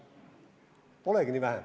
Polegi nii vähe.